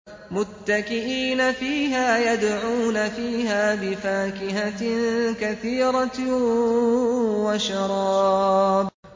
مُتَّكِئِينَ فِيهَا يَدْعُونَ فِيهَا بِفَاكِهَةٍ كَثِيرَةٍ وَشَرَابٍ